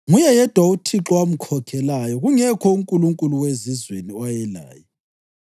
Nguye yedwa uThixo owamkhokhelayo; kungekho unkulunkulu wezizweni owayelaye.